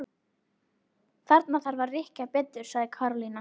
Þarna þarf að rykkja betur sagði Karólína.